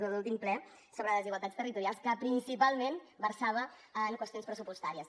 de l’últim ple sobre desigualtats territorials que principalment versava sobre qüestions pressupostàries